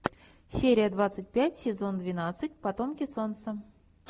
серия двадцать пять сезон двенадцать потомки солнца